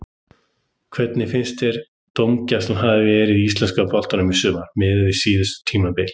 Hvernig finnst þér dómgæslan hafa verið í íslenska boltanum í sumar miðað við síðustu tímabil?